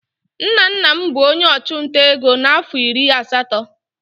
Nna nna m bụ onye ọchụnta ego na afọ iri asatọ.